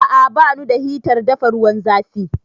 A'a, ba nu da hitar dafa ruwan zafi